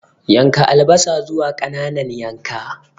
Yanka albasa zuwa ƙananan yanka.